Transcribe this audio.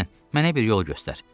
Ogyusten, mənə bir yol göstər.